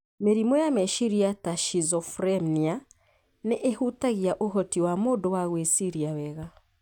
Mĩrimũ ya meciria ta schizophrenia, nĩ ĩhutagia ũhoti wa mũndũ wa gwĩciria wega.